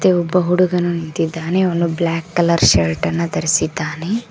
ಹಾಗೆ ಒಬ್ಬ ಹುಡುಗನ ನಿಂತಿದ್ದಾನೆ ಹಾಗೆ ಅವನು ಬ್ಲಾಕ್ ಕಲರ್ ಶರ್ಟ್ ಅನ್ನು ಧರಿಸಿದ್ದಾನೆ.